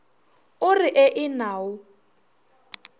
o re ee na o